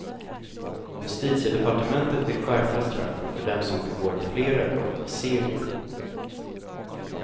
Justitiedepartementet vill skärpa straffen för dem som begår flera brott i serie.